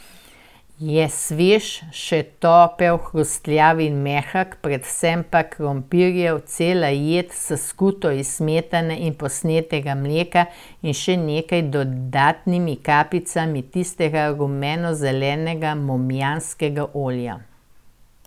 Je svež, še topel, hrustljav in mehek, predvsem pa krompirjev, cela jed, s skuto iz smetane s posnetega mleka in še nekaj dodatnimi kapljicami tistega rumenozelenega momjanskega olja.